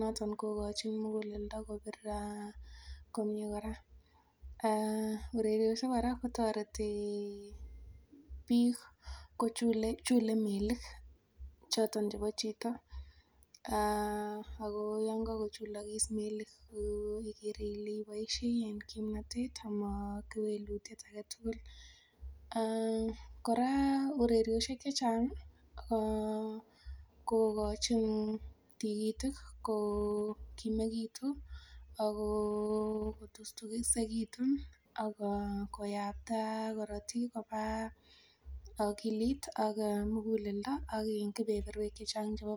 noton kokochin muguleldo kobir komie kora, ureriosiek kora kotoreti biik kochule melik choton chebo chito ako yon kakochulokis melik ikere ile iboisie en kimnotet amo kewelutiet aketugul kora ureriosiek chechang ih kokochin tikitik kokimekitun ak kotustusekitun ak koyakta korotik koba akilit ak muguleldo ak kebeberwek chechang chebo borto